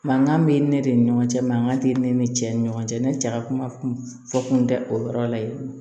Mankan bɛ ne de ni ɲɔgɔn cɛ mankan tɛ ne ni cɛ ni ɲɔgɔn cɛ ne cɛ ka kuma kun fɔ kun tɛ o yɔrɔ la yen